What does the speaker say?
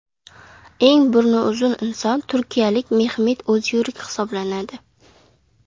Eng burni uzun inson turkiyalik Mehmet O‘zyurek hisoblanadi.